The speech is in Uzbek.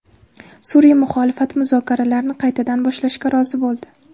Suriya muxolifati muzokaralarni qaytadan boshlashga rozi bo‘ldi.